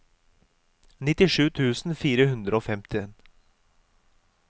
nittisju tusen fire hundre og femten